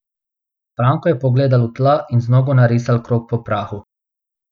Franko je pogledal v tla in z nogo narisal krog po prahu.